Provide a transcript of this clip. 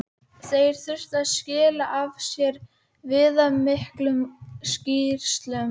Þeir þurftu að skila af sér viðamiklum skýrslum.